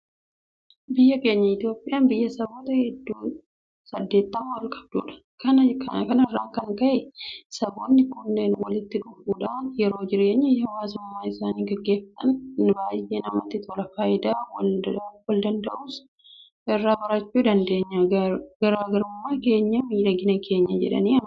Biyyi keenya Itoophiyaan biyya saboota hedduu saddeettamaa ol qabdudha. Kana irraa kan ka'e saboonni kunneen walitti dhufuudhaan yeroo jireenya hawaasummaa isaanii gaggeeffatan baay'ee namatti tola. Faayidaa waldanda'uus irraa barachuu dandeenya. Garaa garummaan keenya miidhagina keenya jedhanii amanu.